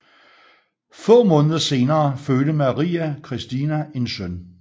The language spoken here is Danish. Få måneder senere fødte Maria Christina en søn